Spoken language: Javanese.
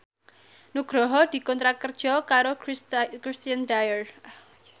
Nugroho dikontrak kerja karo Christian Dior